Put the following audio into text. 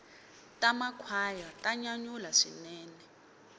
ta makhwaya ta nyanyula swinene